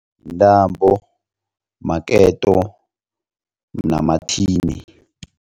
Yintambo maketo namathini.